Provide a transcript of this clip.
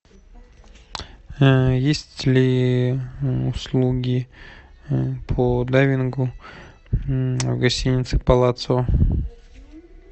есть ли услуги по дайвингу в гостинице палацио